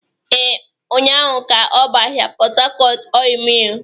Ee, ụnyahụ ka ọ bụ ahịa Port Harcourt Ọịyị Mịl.